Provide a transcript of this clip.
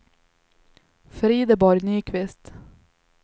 Frideborg Nyqvist